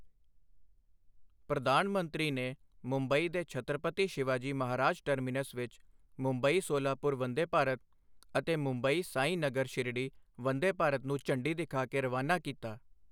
ਪ੍ਰਧਾਨ ਮੰਤਰੀ ਨੇ ਮੁੰਬਈ ਦੇ ਛੱਤਰਪਤੀ ਸ਼ਿਵਾਜੀ ਮਹਾਰਾਜ ਟਰਮਿਨਸ ਵਿੱਚ ਮੁੰਬਈ ਸੋਲਾਪੁਰ ਵੰਦੇ ਭਾਰਤ ਅਤੇ ਮੁੰਬਈ ਸਾਈਂਨਗਰ ਸ਼ਿਰੜੀ ਵੰਦੇ ਭਾਰਤ ਨੂੰ ਝੰਡੀ ਦਿਖਾ ਕੇ ਰਵਾਨਾ ਕੀਤਾ